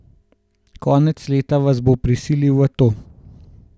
Konec leta vas bo prisilil v to.